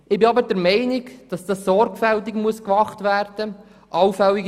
Ich bin aber der Meinung, dass dies sorgfältig gemacht werden muss.